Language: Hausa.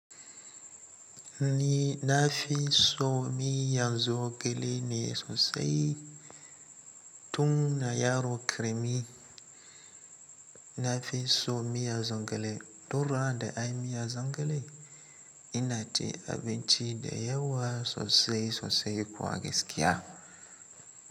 Ni na fi so miyan zogale ne sosai tun na yaro ƙarami. Na fi so miyan zogale, doruwa da ai miyan zogale. Ina ci abinci da yawa sosai sosai kuwa gaskiya.